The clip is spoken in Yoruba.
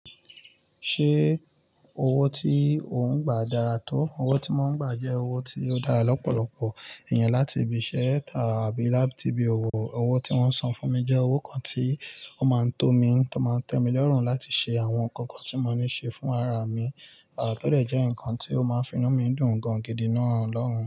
Ṣé owó tí ò ń gbà dára tó? Owó tí mo ń gbà jẹ́ owó tí ó dára lọ́pọ̀lọpọ̀ èèyàn láti ibi iṣẹ́ àbí láti ibi òwò. Owó tí wọ́n san fún mi jẹ́ owó kan tí ó máa ń tó mi, tó máa ń tẹ́ mí lọ́rùn láti ṣe àwọn nǹkan kan tí mo ní ṣe fún ara mi. À to dẹ jẹ́ nǹkan tí ó máa ń finú mi dùn gan-an gidi nàà lọun.